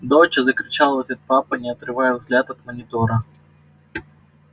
доча закричал в ответ папа не отрывая взгляд от монитора